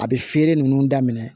A bɛ feere nunnu daminɛ